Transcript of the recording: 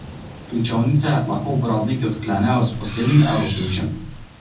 Ključavnice lahko uporabniki odklenejo s posebnim evroključem.